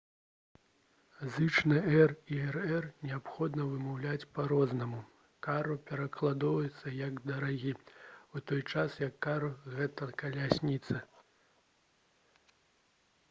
зычныя «r» і «rr» неабходна вымаўляць па-рознаму: «caro» перакладаецца як «дарагі» у той час як «carro» — гэта «калясніца»